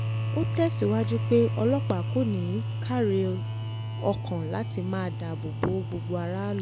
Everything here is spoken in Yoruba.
ó tẹ̀síwájú pé ọlọ́pàá kò ní í káàárẹ̀ ọkàn láti máa dáàbò bo gbogbo aráàlú